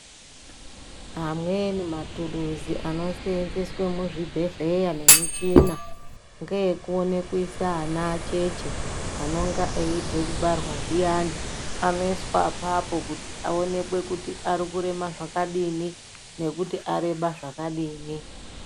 Amweni matuluzi anoseenzeswe muzvibhehleya nemichina ngeye kuone kuise ana acheche, anonga eibva kubaarwa zviyani, anoiswa apapo kuti aonekwe kuti arikurema zvakadini nekuti areba zvakadini.